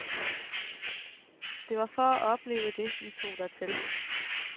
Det var for at opleve det, vi tog dertil.